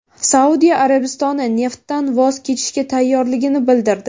Saudiya Arabistoni neftdan voz kechishga tayyorligini bildirdi.